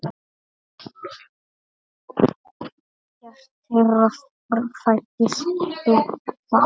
Ekkert þeirra fæddist þó þar.